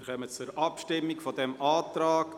Wir kommen zur Abstimmung über diesen Antrag.